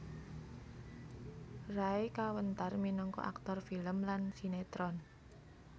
Ray kawentar minangka aktor film lan sinétron